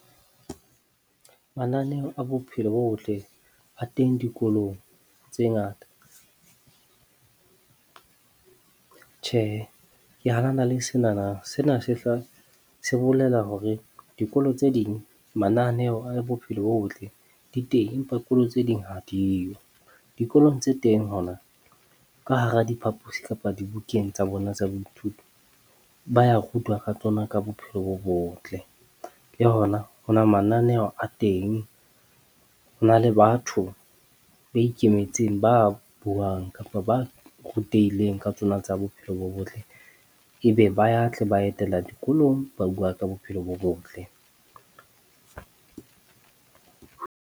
Mananeo a bophelo bo botle a teng dikolong tse ngata . Tjhe, Ke hanana le senana sena sehla se bolela hore dikolo tse ding mananeo a bophelo bo botle di teng, empa dikolo tse ding ha diyo. Dikolong tse teng hona, ka hara diphapusi kapa dibukeng tsa bona tsa boithuto. Ba ya rutwa ka tsona ka bophelo bo botle le hona ho na mananeo a teng. Ho na le batho ba ikemetseng, ba buang kapa ba rutehileng ka tsona tsa bophelo bo botle, ebe ba ya tle ba etela dikolong. Ba bua ka bophelo bo botle.